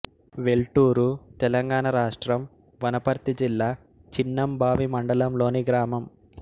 వెల్టూరు తెలంగాణ రాష్ట్రం వనపర్తి జిల్లా చిన్నంబావి మండలంలోని గ్రామం